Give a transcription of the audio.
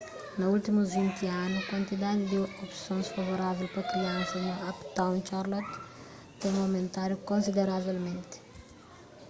na últimus 20 anu kuantidadi di opsons favorável pa kriansas na uptown charlotte ten aumentadu konsideravelmenti